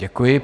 Děkuji.